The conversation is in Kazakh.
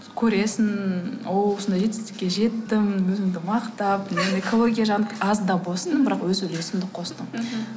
көресің о осындай жетістікке жеттім өзімді мақтап экология жағына аз да болсын бірақ өз үлесімді қостым мхм